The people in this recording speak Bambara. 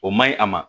O man ɲi a ma